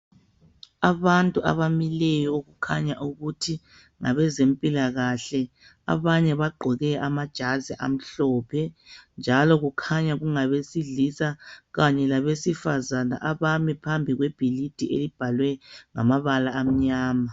Abantu abamileyo okukhanya ukuthi ngabezempilakahle abanye bagqoke ama jazi amhlophe njalo kukhanya kungabesilisa labesifazana abami phambi kwebhilidi elibhalwe ngamabala elimnyama.